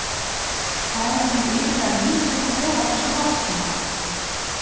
Það er nú iðulega lítið um að vera á þessum árstíma.